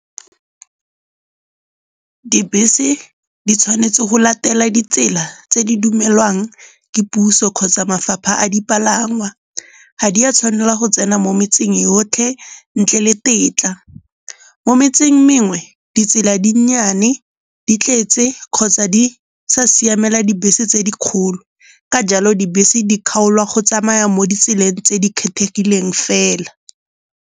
Dibese di tshwanetse go latela ditsela tse di dumelwang ke puso kgotsa mafapha a dipalangwa. Ga di a tshwanela go tsena mo metseng yotlhe ntle le tetla. Mo metseng mengwe ditsela di nnyane, di tletse kgotsa di sa siamela dibese tse dikgolo. Ka jalo dibese di kgaolwa go tsamaya mo ditseleng tse di kgethegileng fela.